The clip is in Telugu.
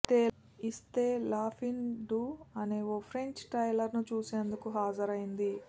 ఇస్తే లా ఫిన్ డు అనే ఓ ఫ్రెంచ్ ట్రైలర్ను చూసేందుకు హాజరైంది